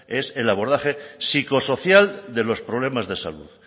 es el abordaje psicosocial de los problemas de salud